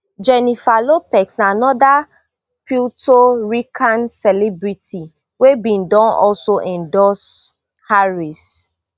jennifer lopez na anoda puerto rican celebrity wey bin don also endorse harris